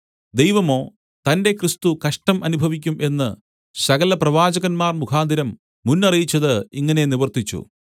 ദൈവമോ തന്റെ ക്രിസ്തു കഷ്ടം അനുഭവിക്കും എന്ന് സകല പ്രവാചകന്മാർ മുഖാന്തരം മുന്നറിയിച്ചത് ഇങ്ങനെ നിവർത്തിച്ചു